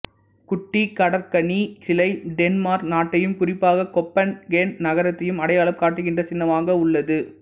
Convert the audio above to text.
குட்டிக் கடற்கன்னி சிலை டென்மார்க் நாட்டையும் குறிப்பாக கோப்பன்ஹேகன் நகரத்தையும் அடையாளம் காட்டுகின்ற சின்னமாக உள்ளது